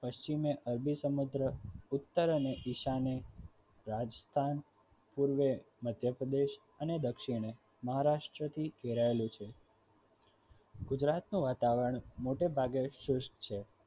પશ્ચિમે અરબી સમગ્રહ ઉત્તર અને ઈશાને રાજ્ય પાન પૂર્વે મધ્ય પ્રદેશ અને દક્ષીણે મહારાષ્ટ્ર થી ઘેરાયેલું છે ગુજરાતનું વાતાવરણ મોટે ભાગે સેસ્ત છે